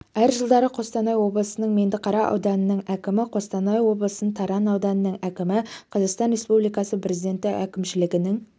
әр жылдары қостанай облысы меңдіқара ауданының әкімі қостанай облысы таран ауданының әкімі қазақстан республикасы президенті әкімшілігінің